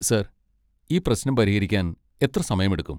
Sir, ഈ പ്രശ്നം പരിഹരിക്കാൻ എത്ര സമയമെടുക്കും?